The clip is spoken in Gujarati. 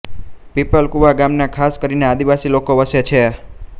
પીપલકુવા ગામમાં ખાસ કરીને આદિવાસી લોકો વસે છે